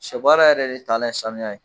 Sɛ baara yɛrɛ de taalan ye sanuya ye